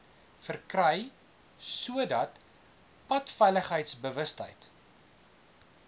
verkry sodat padveiligheidsbewustheid